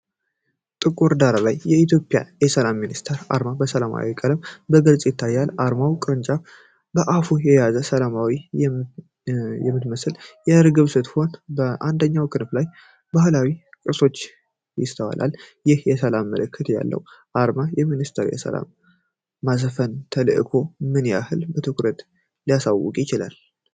በጥቁር ዳራ ላይ የኢትዮጵያ የሰላም ሚኒስቴር አርማ በሰማያዊ ቀለም በግልጽ ይታያል። አርማው ቅርንጫፍ በአፉ የያዘች ሰላምታ የምትመስል እርግብ ስትሆን፤ በአንደኛው ክንፏ ላይ ባህላዊ ቅርጾች ይስተዋላል። ይህ የሰላም ምልክት ያለው አርማ፤ የሚኒስቴሩን የሰላም ማስፈን ተልዕኮ ምን ያህል በትኩረት ሊያሳውቅ ይችላል?